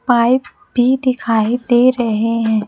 Pipe भी दिखाई दे रहे हैं।